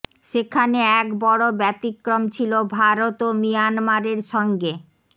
সেখানে এক বড় ব্যতিক্রম ছিল ভারত ও মিয়ানমারের সঙ্গে